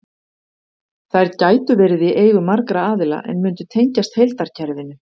Þær gætu verið í eigu margra aðila en mundu tengjast heildarkerfinu.